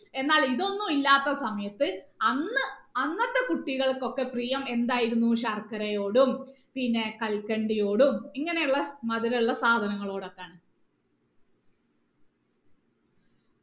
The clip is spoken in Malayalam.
എന്നാൽ ഇതൊന്നും ഇല്ലാത്ത സമയത്ത് അന്ന് അന്നത്തെ കുട്ടികൾക്കൊക്കെ പ്രിയം ശർക്കരയോടും പിന്നെ കൽക്കണ്ടിയോടും ഇങ്ങനെ ഉള്ള മധുര ഉള്ള സാധനങ്ങളോട് ഒക്കാണ്